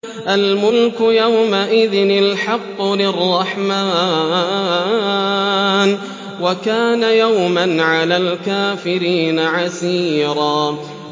الْمُلْكُ يَوْمَئِذٍ الْحَقُّ لِلرَّحْمَٰنِ ۚ وَكَانَ يَوْمًا عَلَى الْكَافِرِينَ عَسِيرًا